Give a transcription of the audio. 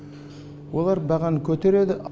олар бағаны көтереді